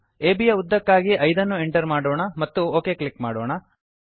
ಅಬ್ ಯ ಉದ್ದಕ್ಕಾಗಿ 5 ಅನ್ನು ಎಂಟರ್ ಮಾಡೋಣ ಮತ್ತು ಒಕ್ ಕ್ಲಿಕ್ ಮಾಡೋಣ